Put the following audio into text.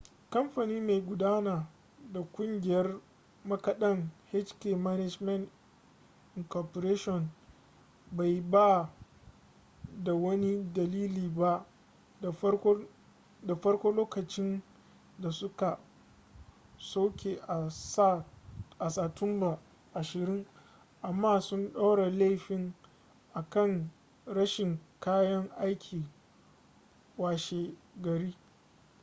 kamfani mai gudanar da kungiyar makadan hk management inc bai ba da wani dalili ba da farko lokacin da suka soke a sa tumba 20 amma sun ɗora laifin a kan rashin kayan aiki washe gari